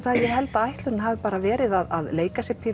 ég held að ætlunin hafi bara verið að leika sér